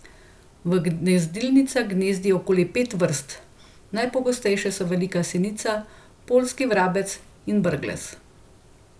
V gnezdilnicah gnezdi okoli pet vrst, najpogostejše so velika sinica, poljski vrabec in brglez.